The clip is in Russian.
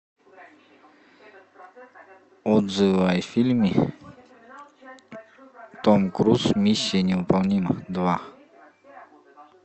отзывы о фильме том круз миссия невыполнима два